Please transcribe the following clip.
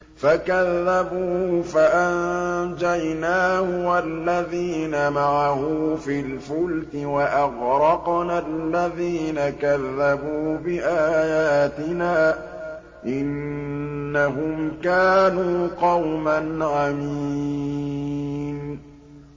فَكَذَّبُوهُ فَأَنجَيْنَاهُ وَالَّذِينَ مَعَهُ فِي الْفُلْكِ وَأَغْرَقْنَا الَّذِينَ كَذَّبُوا بِآيَاتِنَا ۚ إِنَّهُمْ كَانُوا قَوْمًا عَمِينَ